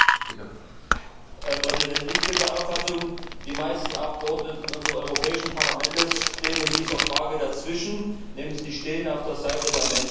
Herr Präsident! Ich bin der Auffassung, die meisten Abgeordneten in unserem Europäischen Parlament stehen in dieser Frage dazwischen, nämlich sie stehen auf der Seite der Menschen.